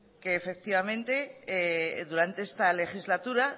que durante esta legislatura